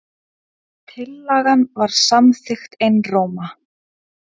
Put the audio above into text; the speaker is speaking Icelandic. Tillagan var samþykkt einróma.